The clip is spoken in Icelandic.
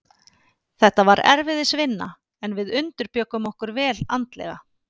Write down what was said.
Þetta var erfiðisvinna, en við undirbjuggum okkur vel andlega.